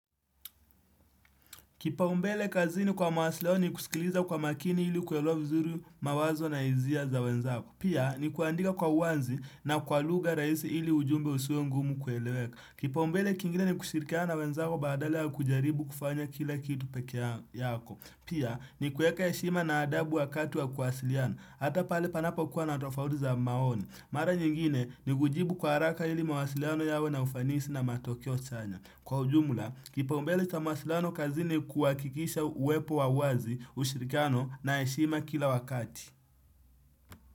Kipaumbele kazi ni kwa mawasiliano nikusikiliza kwa makini ili kuewa vizuri mawazo na hisia za wenzako. Pia ni kuandika kwa uanzi na kwa lugha rahisi ili ujumbe husiwe ngumu kueleweka. Kipaumbele kingine ni kushirikia na wenzako badale wa kujaribu kufanya kila kitu peke yako. Pia nikueka heshima na adabu wakati wa kuhasiliana. Hata pale panapokuwa natofauti za maoni. Mara nyingine ni kujibu kwa haraka ili mawasiliano yawe na ufanisi na matao chanya. Kwa ujumla, kipaumbele cha mawasilano kazini kuhakikisha uwepo wa uwazi ushirikano na heshima kila wakati.